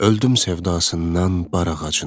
Öldüm sevdasından bar ağacının.